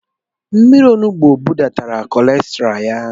Mmírí onugbu budatara kolesterọl ya.